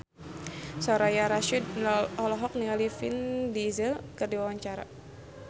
Soraya Rasyid olohok ningali Vin Diesel keur diwawancara